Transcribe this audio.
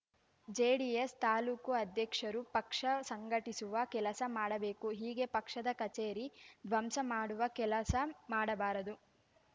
JDS ತಾಲೂಕು ಅಧ್ಯಕ್ಷರು ಪಕ್ಷ ಸಂಘಟಿಸುವ ಕೆಲಸ ಮಾಡಬೇಕು ಹೀಗೆ ಪಕ್ಷದ ಕಚೇರಿ ಧ್ವಂಸಮಾಡುವ ಕೆಲಸ ಮಾಡಬಾರದು